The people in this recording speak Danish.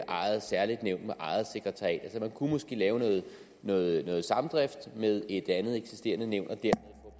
eget særligt nævn med eget sekretariat man kunne måske lave noget noget samdrift med et andet eksisterende nævn